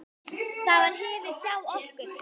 Það var hefð hjá okkur.